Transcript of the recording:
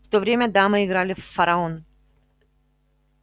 в то время дамы играли в фараон